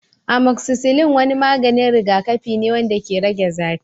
Amoxicillin wani maganin rigakafi ne wanda ke rage zafi.